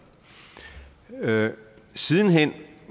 siden hen